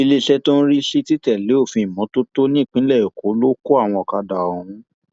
iléeṣẹ tó ń rí sí títẹlé òfin ìmọtótó nípínlẹ èkó ló kọ àwọn ọkadà ọhún